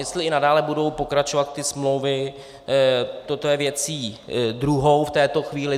Jestli i nadále budou pokračovat ty smlouvy, to je věcí druhou v této chvíli.